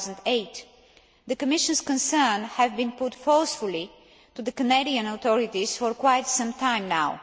2008. The Commission's concerns have been put forcefully to the Canadian authorities for quite some time now.